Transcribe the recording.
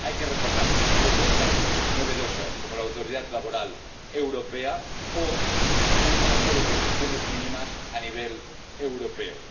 Hay que recordar propuestas novedosas, como la autoridad laboral europea, o un marco de condiciones mínimas a nivel europeo.